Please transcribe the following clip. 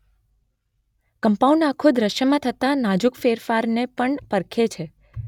compound આંખો દૃષ્યમાં થતા નાજુક ફેરફારને પણ પરખે છે